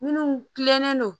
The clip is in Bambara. Minnu kilennen don